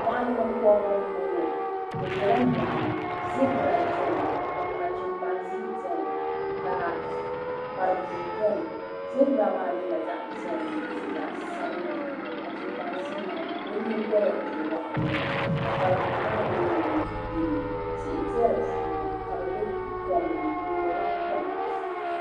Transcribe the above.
Moɣuni binkobri n boŋɔ bɛ bela moɣuni zibra biɛni ka chimpanzini biɛni ka kparibua biɛni zibira maa nyɛla zaɣa piɛlli ni zaɣa sabinli ka chipanzini maa o nyingoli n waɣa ŋɔ ka kparibua maa mɛɛ nyɛ yelo tihi be di puuni ka bɛ be komni bɛ nyurila kom.